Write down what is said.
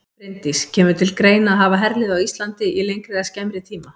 Bryndís: Kemur til greina að hafa herlið á Íslandi í lengri eða skemmri tíma?